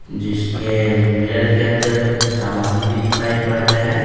जिसके मिरर के अंदर कुछ सामान भी दिखाई पड़ रहे हैं।